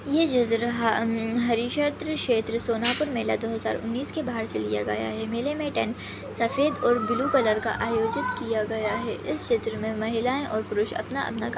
ये चित्र हम्म हरिशत्र क्षेत्र सोनापुर मेला दो हज़ार उन्नीस के बाहर से लिया गया है मेले मे टेन सफ़ेद और ब्लू कलर का आयोजित किया गया है इस क्षेत्र मे महिलाए और पुरुष अपना अपना काम--